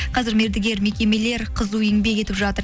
қазір мердігер мекемелер қызу еңбек етіп жатыр